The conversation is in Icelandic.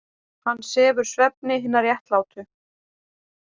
Hann sefur svefni hinna réttlátu.